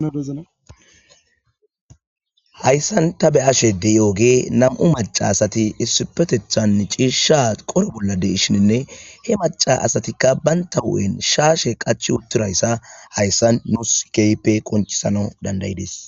Hayssan ta be7ashe de7iyoge nam7u maccasati issipeththetan ciishsha coro bolla de7ishinne ;He maccasati bantta huu7en shaashe qachchi utirayssa hayssan nus keehippe qonccisanaw dandda7idees.